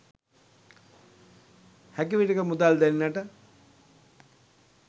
හැකි විටෙක මුදල් දෙන්නට